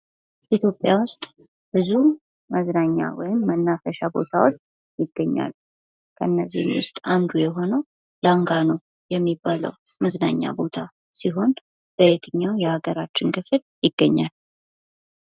ኢትዮጵያ ውስጥ ብዙ መዝናኛ ወይም መናፈሻ ቦታዎች ይገኛሉ ። ከነዚህም ውስጥ አንዱ የሆነው ላንጋኖ የሚባለው መዝናኛ ቦታ ሲሆን በየትኛው የሀገራችን ክፍል ይገኛል ?